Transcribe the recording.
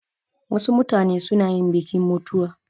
Wasu mutane suna yin bikin mutuwa